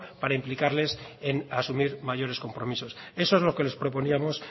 para implicarles en asumir mayores compromisos eso es lo que les proponíamos